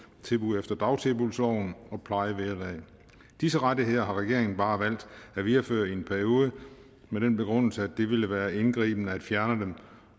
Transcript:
tilbud efter dagtilbudsloven og plejevederlag disse rettigheder har regeringen bare valgt at videreføre i en periode med den begrundelse at det ville være indgribende at fjerne dem